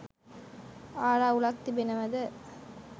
ආරවුලක්‌ තිබෙනවද?